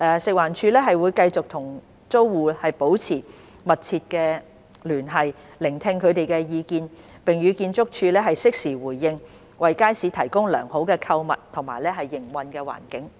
食環署會繼續與租戶保持密切聯繫，聆聽他們的意見，並與建築署適時回應，為街市提供良好的購物及營運環境。